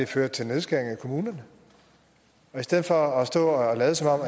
fører til nedskæringer i kommunerne i stedet for at stå og lade som om